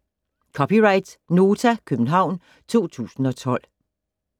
(c) Nota, København 2012